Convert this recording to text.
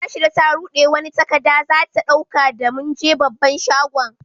Rashida ta rude wani takada za ta dauka da mun je babban shagon.